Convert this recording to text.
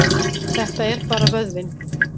Þetta er bara vöðvinn.